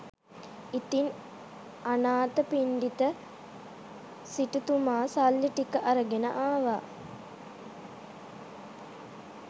ඉතින් අනාථපිණ්ඩික සිටුතුමා සල්ලි ටික අරගෙන ආවා